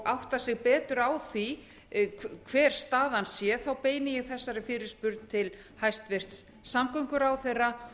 átta sig betur á því hver staðan sé beini ég þessari fyrirspurn til hæstvirts samgönguráðherra